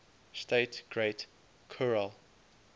state great khural